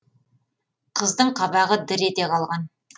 қыздың қабағы дір ете қалған